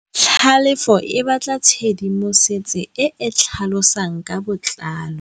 Tlhalefô o batla tshedimosetsô e e tlhalosang ka botlalô.